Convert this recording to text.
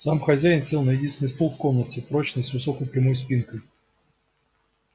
сам хозяин сел на единственный стул в комнате прочный с высокой прямой спинкой